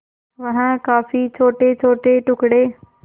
वह काफी छोटेछोटे टुकड़े